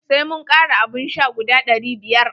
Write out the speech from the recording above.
Sai mun kara abun sha guda ɗari biyar.